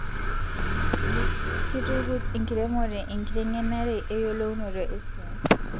Kitukuj enkiremore enkitengenare eyolounoto esiai